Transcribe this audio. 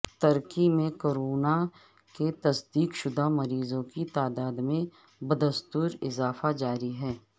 ترکی میں کورونا کے تصدیق شدہ مریضوں کی تعداد میں بدستور اضافہ جاری ہے